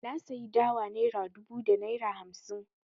Na sayi dawa naira dubu da naira hamsi.